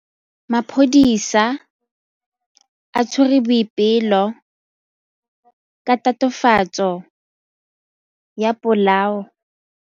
Maphodisa a tshwere Boipelo ka tatofatsô ya polaô.